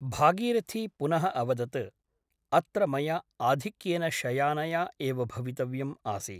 भागीरथी पुनः अवदत् अत्र मया आधिक्येन शयानया एव भवितव्यम् आसीत् ।